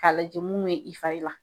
K'a lajɛ mun be i fari la.